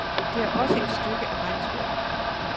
Det er også et stykke af regnskoven.